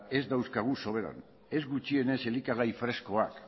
ez dauzkagu soberan ez gutxienez elikagai freskoak